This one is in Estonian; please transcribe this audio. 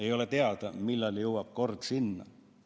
Ei ole teada, millal jõuab kord selleni.